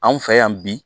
Anw fɛ yan bi